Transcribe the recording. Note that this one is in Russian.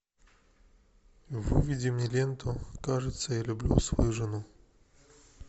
выведи мне ленту кажется я люблю свою жену